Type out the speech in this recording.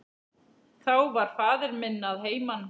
Þá var faðir minn að heiman.